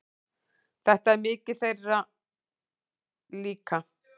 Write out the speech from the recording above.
Þetta er mikið þeirra líka.